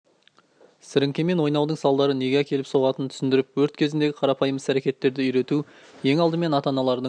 сіріңкемен ойнаудың салдары неге әкеліп соғатынын түсіндіріп өрт кезіндегі қарапайым іс-әрекеттерді үйрету ең алдымен ата-аналардың